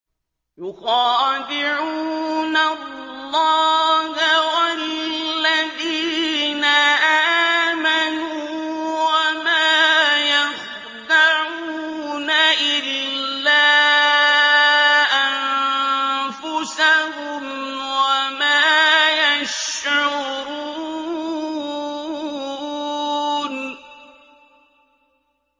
يُخَادِعُونَ اللَّهَ وَالَّذِينَ آمَنُوا وَمَا يَخْدَعُونَ إِلَّا أَنفُسَهُمْ وَمَا يَشْعُرُونَ